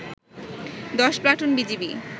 ১০ platoon BGB